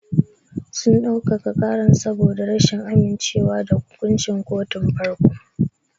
Sun dau-kaka ƙaran saboda rashin amince wa da hukunci kotun farko.